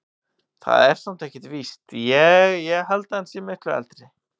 Það er samt ekkert víst. ég held að hann sé miklu eldri.